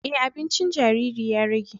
E, abincin jariri ya rage